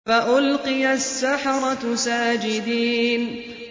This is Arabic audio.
فَأُلْقِيَ السَّحَرَةُ سَاجِدِينَ